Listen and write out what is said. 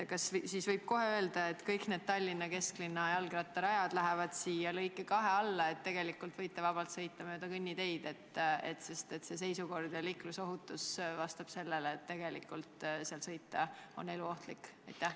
Kas siis võib kohe öelda, et kõik need kesklinna jalgrattarajad lähevad lõike 2 alla, tegelikult võite vabalt sõita mööda kõnniteid, sest see seisukord ja liiklusolud vastavad sellele, et tegelikult on seal sõita eluohtlik?